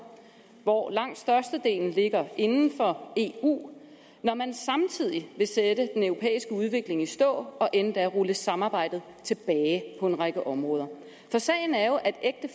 hvor langt størstedelen ligger inden for eu når man samtidig vil sætte den europæiske udvikling i stå og endda rulle samarbejdet tilbage på en række områder for sagen er jo at